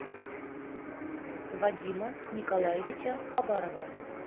вадима николаевича хабарова